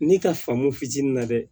Ne ka faamu fitinin na dɛ